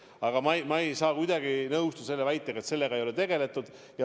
Aga ma ei saa kuidagi nõustuda väitega, et probleemiga ei ole tegeletud.